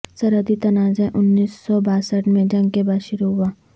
سرحدی تنازعہ انیس سو باسٹھ میں جنگ کے بعد شروع ہوا